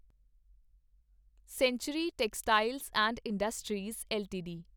sanctuary Textiles and Industries LTD